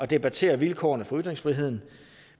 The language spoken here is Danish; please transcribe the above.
debattere vilkårene for ytringsfriheden